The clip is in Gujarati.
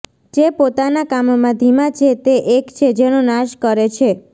જે પોતાના કામમાં ધીમા છે તે એક છે જેનો નાશ કરે છે